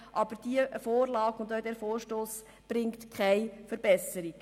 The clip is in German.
Aber weder die Vorlage des Regierungsrats noch der eingereichte Vorstoss bringen eine Verbesserung.